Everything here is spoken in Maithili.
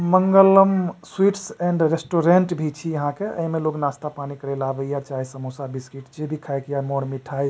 मंगलम स्वीट्स एंड रेस्टुरेंट भी छी अहाँ के ए में लोग नास्ता पानी करे ला अवय ये चाय समोसा बिस्कुट जे भी खाए के ये मोर मिठाई --